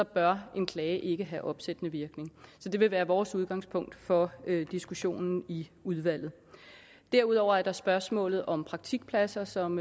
bør en klage ikke have opsættende virkning så det vil være vores udgangspunkt for diskussionen i udvalget derudover er der spørgsmålet om praktikpladser som